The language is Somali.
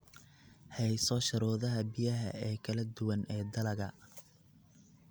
Hayso shuruudaha biyaha ee kala duwan ee dalagga.